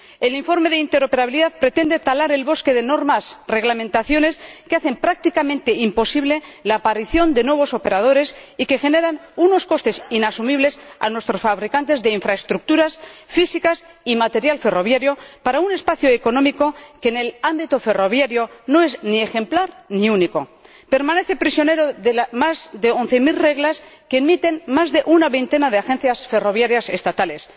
El informe sobre la interoperabilidad pretende talar el bosque de normas o reglamentaciones que hacen prácticamente imposible la aparición de nuevos operadores y que generan unos costes inasumibles a nuestros fabricantes de infraestructuras físicas y material ferroviario para un espacio económico que en el ámbito ferroviario no es ni ejemplar ni único, permanece prisionero de las más de 11 mil reglas que emiten más de una veintena de agencias ferroviarias estatales.